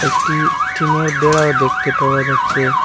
একটি টিনের বেড়াও দেখতে পাওয়া যাচ্ছে।